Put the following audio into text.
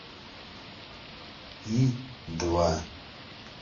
и два